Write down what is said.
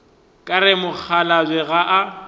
ka re mokgalabje ga a